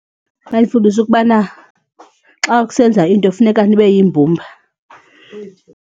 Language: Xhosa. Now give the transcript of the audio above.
Yayifundisa ukubana xa usenza into funeka nibe yimbumba.